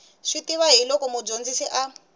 swi tiva hiloko mudyondzisi a